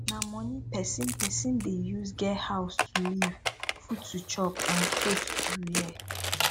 na money persin persin de use get house to live food to chop and cloth to wear